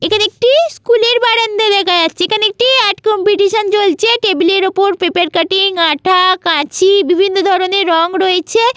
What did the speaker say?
এখানে একটি স্কুলের বারান্দা দেখা যাচ্ছে এখানে একটি আর্ট কম্পিটিসন চলছে টেবিলের অপর পেপার কাটিং আঠা কাচি বিভিন্ন ধরনের রঙ রয়েছে ।